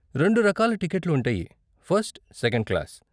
రెండు రకాల టికెట్లు ఉంటాయి, ఫస్ట్, సెకండ్ క్లాస్.